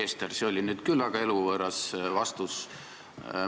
Härra Kessler, see oli nüüd küll väga eluvõõras vastus.